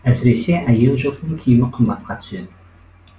әсіресе әйел жұртының киімі қымбатқа түседі